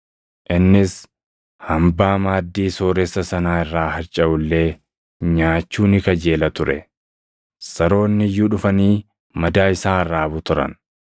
Innis hambaa maaddii sooressa sanaa irraa harcaʼu illee nyaachuu ni kajeela ture; saroonni iyyuu dhufanii madaa isaa arraabu turan.